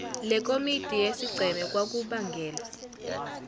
lekomidi yesigceme kwakubangelwa